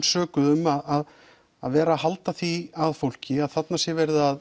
sökuð um að vera að halda því að fólki að þarna sé verið að